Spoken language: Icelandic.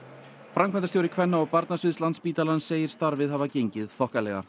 framkvæmdastjóri kvenna og barnasviðs Landspítalans segir starfið hafa gengið þokkalega